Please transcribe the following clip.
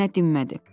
Nənə dinmədi.